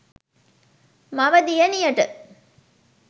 මව දියණියට